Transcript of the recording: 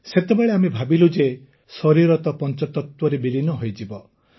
ସେତେବେଳେ ଆମେ ଭାବିଲୁ ଯେ ଶରୀର ତ ପଂଚତତ୍ୱରେ ବିଲୀନ ହୋଇଯିବ